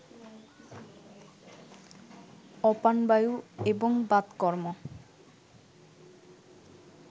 অপানবায়ু এবং বাতকর্ম